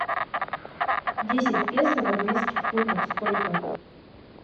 десять песо в английских фунтах сколько